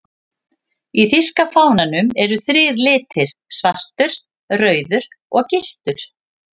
Í þýska fánanum eru þrír litir, svartur, rauður og gylltur.